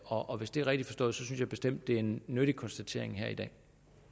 og hvis det er rigtig forstået synes jeg bestemt det er en nyttig konstatering her i dag